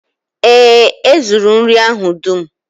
Ee e, e zuru nri ahụ dum